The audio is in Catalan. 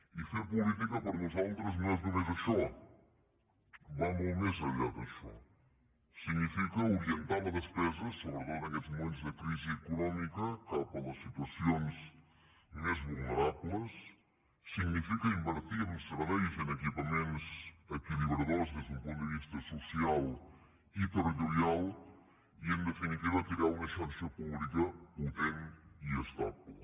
i fer política per nosaltres no és només això va molt més enllà d’això significa orientar la despesa sobretot en aquests moments de crisi econòmica cap a les situacions més vulnerables significa invertir en serveis i en equipaments equilibradors des d’un punt de vista social i territorial i en definitiva crear una xarxa pública potent i estable